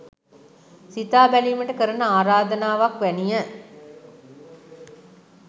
සිතා බැලීමට කරන ආරාධනාවක් වැනිය